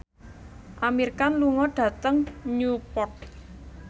Amir Khan lunga dhateng Newport